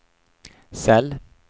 cell